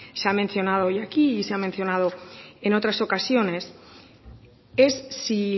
se ha mencionado hoy aquí y se ha mencionado en otras ocasiones es si